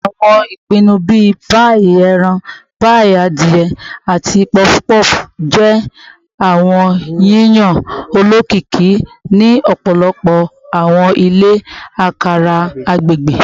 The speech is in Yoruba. Awọn ipanu bii paii eran, paii adie, ati puff puff jẹ awọn yiyan olokiki ni ọpọlọpọ awọn ile akara agbegbe